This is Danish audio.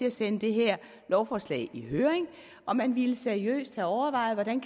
at sende det her lovforslag i høring og man ville seriøst have overvejet hvordan